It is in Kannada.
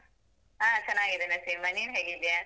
ಹಾ, ಚನ್ನಾಗಿದ್ದೇನಾ ಸೀಮಾ, ನೀನ್ ಹೇಗಿದ್ಯಾ?